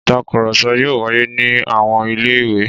Ìtakùrọ̀sọ yóò wáyé ní àwọn ilé-ìwé.